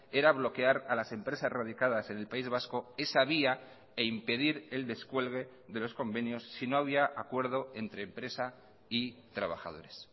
era bloquear a las empresas radicadas en el país vasco esa vía e impedir el descuelgue de los convenios si no había acuerdo entre empresa y trabajadores